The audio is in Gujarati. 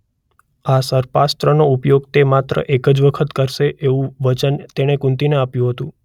આ સર્પાસ્ત્રનો ઉપયોગ તે માત્ર એક જ વખત કરશે એવું વચન તેણે કુંતીને આપ્યું હતું.